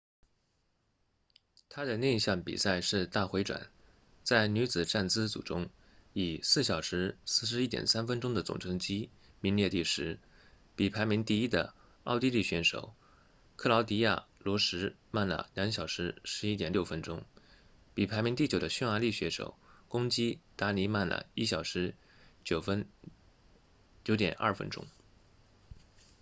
她的另一项比赛是大回转在女子站姿组中以 4:41.30 分钟的总成绩名列第十比排名第一的奥地利选手克劳迪娅·罗什慢了 2:11.60 分钟比排名第九的匈牙利选手巩基·达尼慢了 1:09.02 分钟